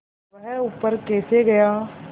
वह ऊपर कैसे गया